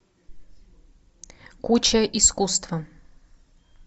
куча искусства